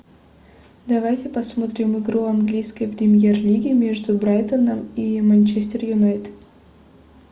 давайте посмотрим игру английской премьер лиги между брайтоном и манчестер юнайтед